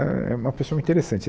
Éh, é uma pessoa interessante.